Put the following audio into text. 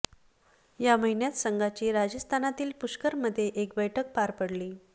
या महिन्यात संघाची राजस्थानातील पुष्करमध्ये एक बैठक पार पडली